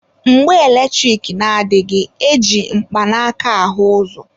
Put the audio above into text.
Mgbe eletrik na adịghị, e ji mkpanaaka ahụ ụzọ.